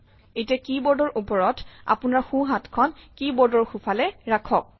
এতিয়া কী বোৰ্ডৰ ওপৰত আপোনাৰ সোঁ হাতখন কী বোৰ্ডৰ সোঁফালে ৰাখক